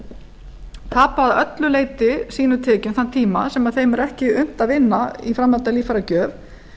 tapa að öllu leyti sínum tekjum þann tíma sem þeim er ekki unnt að vinna í framhaldi af líffæragjöf